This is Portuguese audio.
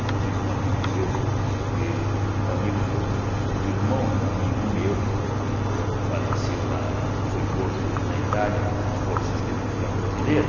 Inclusive, um amigo meu, eeh um amigo meu ele eh o o irmão de um amigo meu, faleceu lá, foi morto na Itália, na Força Expeditiva Brasileira.